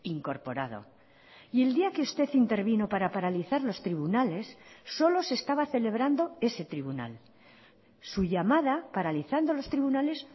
incorporado y el día que usted intervino para paralizar los tribunales solo se estaba celebrando ese tribunal su llamada paralizando los tribunales